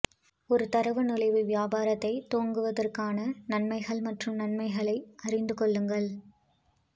ஒரு தரவு நுழைவு வியாபாரத்தை துவங்குவதற்கான நன்மைகள் மற்றும் நன்மைகளை அறிந்து கொள்ளுங்கள்